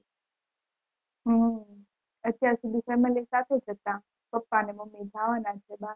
હમ અત્યાર સુઘી family સાથે જ હતા પપ્પા અને મમ્મી જવાના છે